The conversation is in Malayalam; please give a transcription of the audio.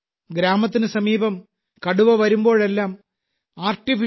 ഗ്രാമത്തിന് സമീപം കടുവ വരുമ്പോഴെല്ലാം എ